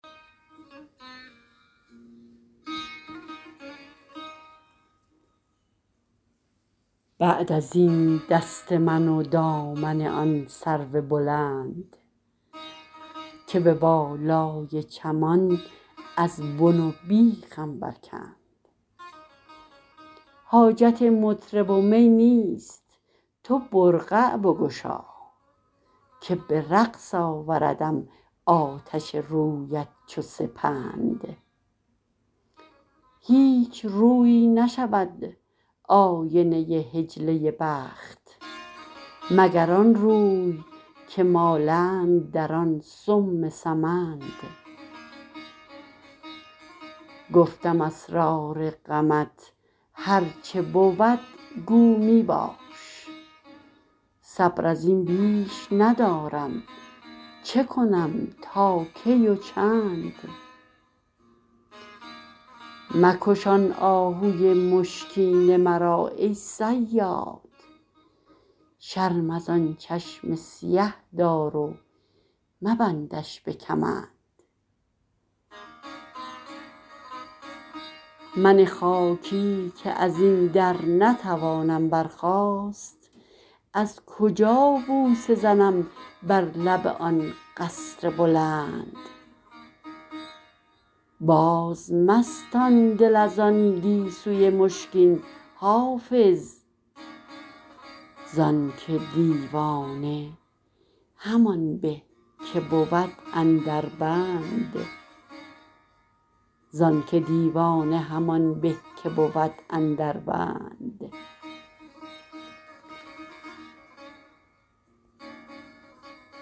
بعد از این دست من و دامن آن سرو بلند که به بالای چمان از بن و بیخم برکند حاجت مطرب و می نیست تو برقع بگشا که به رقص آوردم آتش رویت چو سپند هیچ رویی نشود آینه حجله بخت مگر آن روی که مالند در آن سم سمند گفتم اسرار غمت هر چه بود گو می باش صبر از این بیش ندارم چه کنم تا کی و چند مکش آن آهوی مشکین مرا ای صیاد شرم از آن چشم سیه دار و مبندش به کمند من خاکی که از این در نتوانم برخاست از کجا بوسه زنم بر لب آن قصر بلند بازمستان دل از آن گیسوی مشکین حافظ زان که دیوانه همان به که بود اندر بند